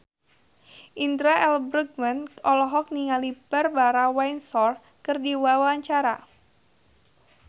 Indra L. Bruggman olohok ningali Barbara Windsor keur diwawancara